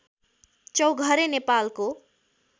चौघरे नेपालको